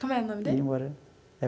Como é o nome dele?